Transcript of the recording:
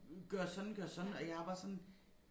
Gøre sådan gøre sådan og jeg er bare sådan